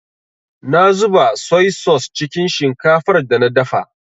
Na zuba soi-sos cikin shinkafar da na dafa.